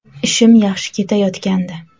Ishim yaxshi ketayotgandi.